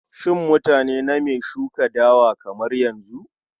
Shin mutane name shuka dawa kamar yanzu?